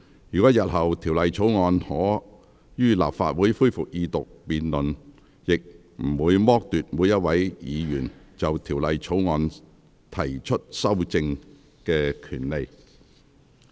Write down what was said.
若日後《條例草案》可於立法會恢復二讀辯論，亦不會剝奪每一位議員就《條例草案》提出修正案的權利。